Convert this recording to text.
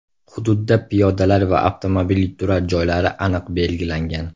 Hududda piyodalar va avtomobil turar joylari aniq belgilangan.